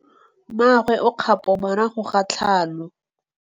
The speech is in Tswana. Mmagwe o kgapô morago ga tlhalô.